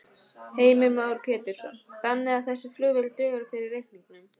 Heimir Már Pétursson: Þannig að þessi flugvél dugar fyrir reikningnum?